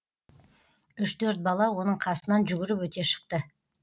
үш төрт бала оның қасынан жүгіріп өте шықты